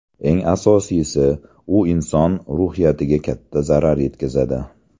Eng asosiysi, u inson ruhiyatiga katta zarar yetkazadi.